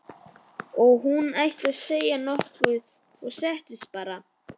Og hún hætti við að segja nokkuð og settist bara.